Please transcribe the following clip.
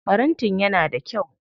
Farantin yana da kyau.